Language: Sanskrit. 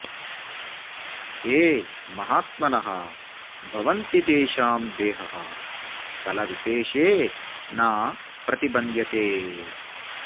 ये महात्मनः भवन्ति तेषां देहः स्थलविशेषे न प्रतिबन्ध्यते